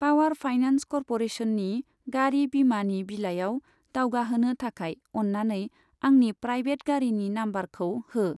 Power finance कर्प'रेसननि गारि बीमानि बिलाइयाव दावगाहोनो थाखाय अन्नानै आंनि प्राइभेट गारिनि नाम्बारखौ हो।